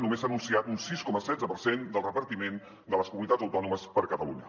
només s’ha anunciat un sis coma setze per cent del repartiment de les comunitats autònomes per a catalunya